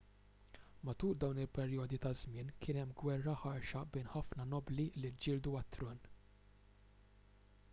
matul dawn il-perjodi ta' żmien kien hemm gwerra ħarxa bejn ħafna nobbli li ġġieldu għat-tron